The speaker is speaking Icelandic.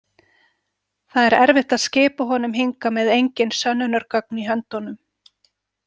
Það er erfitt að skipa honum hingað með engin sönnunargögn í höndum.